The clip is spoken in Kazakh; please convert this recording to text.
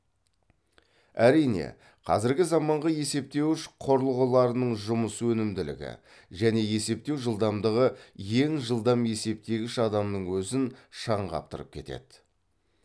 әрине қазіргі заманғы есептеуіш құрылғыларының жұмыс өнімділігі және есептеу жылдамдығы ең жылдам есептегіш адамның өзін шаң қаптырып кетеді